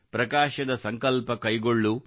ಪ್ರಕಾಶದ ಸಂಕಲ್ಪ ಕೈಗೊಳ್ಳು